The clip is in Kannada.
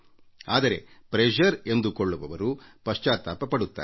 ಆದರೆ ಪ್ರೆಶರ್ ಎಂದುಕೊಳ್ಳುವವರು ಪಶ್ಚಾತ್ತಾಪ ಪಡುತ್ತಾರೆ